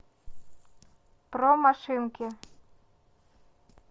про машинки